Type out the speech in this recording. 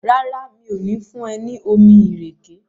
ràrá mi'o ni fún e ní omí ìrèké?